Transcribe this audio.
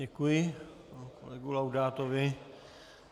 Děkuji kolegovi Laudátovi.